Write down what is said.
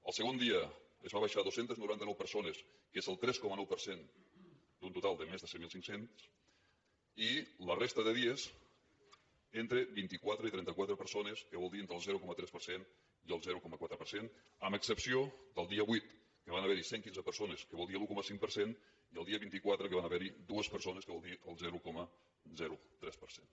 el segon dia es va baixar a dos cents i noranta nou persones que és el tres coma nou per cent d’un total de més de set mil cinc cents i la resta de dies entre vint i quatre i trenta quatre persones que vol dir entre el zero coma tres per cent i el zero coma quatre per cent amb excepció del dia vuit que van haver hi cent i quinze persones que vol dir l’un coma cinc per cent i el dia vint quatre que van haver hi dues persones que vol dir el zero coma tres per cent